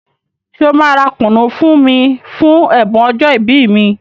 Ṣé ọ máa ra kùnú fún mí fún ẹ̀bùn ọjọ́ ìbí mi?